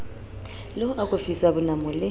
le ho akofisa bonamo le